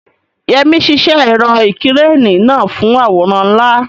Yemi ṣiṣẹ́ ẹ̀rọ ìkẹ́rẹ́nì náà fún àwòrán ńlá.